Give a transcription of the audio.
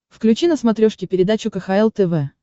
включи на смотрешке передачу кхл тв